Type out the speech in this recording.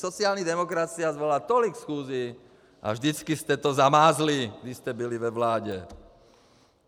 Sociální demokracie svolala tolik schůzí, a vždycky jste to zamázli, když jste byli ve vládě!